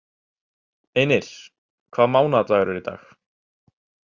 Einir, hvaða mánaðardagur er í dag?